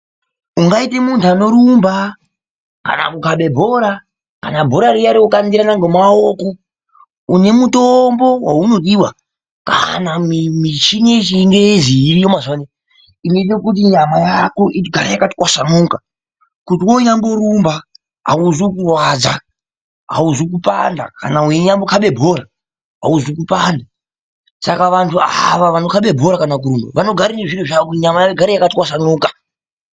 Ungaite muntu anorumba kana kukabe bhora kana bhora riya rekukandirana ngomaoko. Une mutombo waunodiwa kana michini yechingezi iriyo mazuvano iyi inoite kuti nyama yako igare yakatwasanuka kuti woonyamborumba hauzwi kurwadza, hauzwi kupanda. kana weinyambokabe bhora hauzwi kupanda. Saka vantu ava vanoite zvekukabe bhora vanogara nezviro zvavo kuti nyama igare yakatwasanuka.